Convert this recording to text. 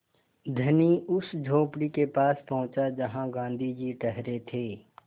धनी उस झोंपड़ी के पास पहुँचा जहाँ गाँधी जी ठहरे थे